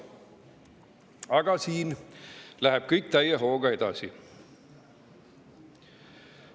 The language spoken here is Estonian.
Aga siin läheb kõik täie hooga edasi.